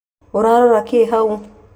Ũrarora kĩ hau